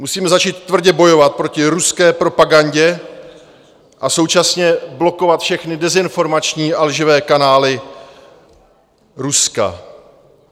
Musíme začít tvrdě bojovat proti ruské propagandě a současně blokovat všechny dezinformační a lživé kanály Ruska.